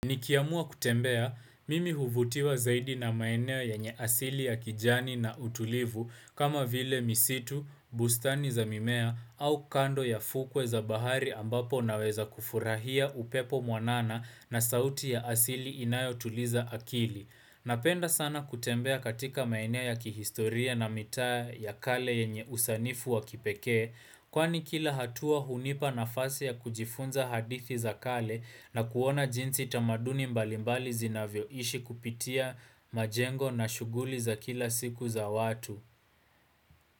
Nikiamua kutembea, mimi huvutiwa zaidi na maeneo yenye asili ya kijani na utulivu kama vile misitu, bustani za mimea au kando ya fukwe za bahari ambapo naweza kufurahia upepo mwanana na sauti ya asili inayo tuliza akili. Napenda sana kutembea katika maeneo ya kihistoria na mitaa ya kale yenye usanifu wa kipekee kwani kila hatua hunipa na fasi ya kujifunza hadithi za kale na kuona jinsi tamaduni mbalimbali zinavyo ishi kupitia majengo na shughuli za kila siku za watu.